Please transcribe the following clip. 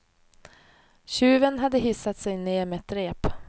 Tjuven hade hissat sig ner med ett rep.